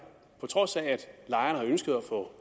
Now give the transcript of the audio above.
at på trods af at lejerne har ønsket at få